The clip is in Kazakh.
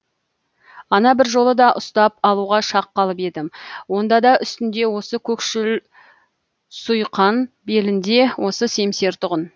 ана бір жолы да ұстап алуға шақ қалып едім онда да үстінде осы көкшіл суйқан белінде осы семсер тұғын